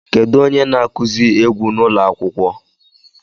Kedu onye na-akụzi egwu n'ụlọ akwụkwọ?